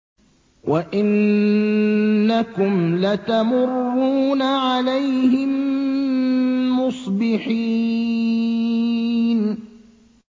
وَإِنَّكُمْ لَتَمُرُّونَ عَلَيْهِم مُّصْبِحِينَ